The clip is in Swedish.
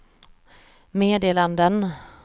meddelanden